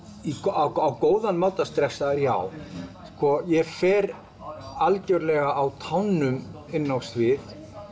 á góðan máta stressaður já ég fer algjörlega á tánum inn á svið